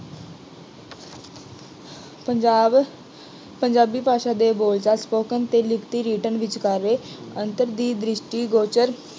ਪੰਜਾਬ, ਪੰਜਾਬੀ ਭਾਸ਼ਾ ਦੇ ਬੋਲਚਾਲ spoken ਅਤੇ ਲਿਖਤੀ written ਵਿਚਕਾਰੇ ਅੰਤਰ ਦੀ ਦ੍ਰਿਸ਼ਟੀਗੋਚਰ